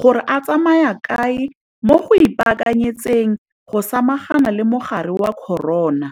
gore a tsamaya kae mo go ipaakanyetseng go samagana le mogare wa corona.